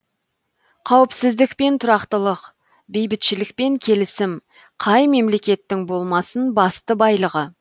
қауіпсіздік пен тұрақтылық бейбітшілік пен келісім қай мемлекеттің болмасын басты байлығы